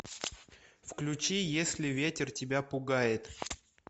включи если ветер тебя пугает